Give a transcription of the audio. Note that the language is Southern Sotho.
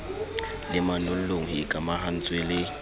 le manollong ho ikamahantswe le